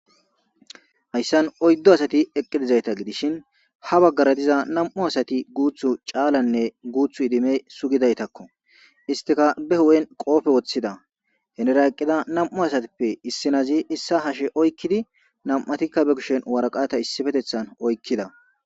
hayssan oyddo asati eqqidizayta gidishin ha baggara diza nam7u asati guuthu caalanne guuthu idime sugidaytakko istika be hu7en qoofe woththida henra eqqida nam7u asatippe issinazi issa hashe oykkidi nam7atikka be kushen waraqata issifetethan oykkida